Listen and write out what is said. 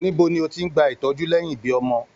Níbo ni o tí n gbà ìtọjú lẹyìn ibí ọmọ?